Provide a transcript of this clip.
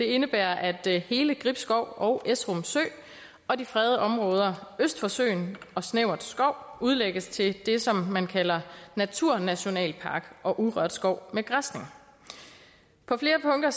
indebærer at hele gribskov og esrum sø og de fredede områder øst for søen og snæver skov udlægges til det som man kalder naturnationalpark og urørt skov med græsning på flere punkter